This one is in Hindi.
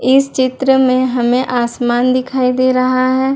इस चित्र में हमें आसमान दिखाई दे रहा है।